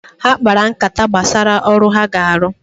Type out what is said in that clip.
Ha kpara nkata gbasara ọrụ ha ga-arụ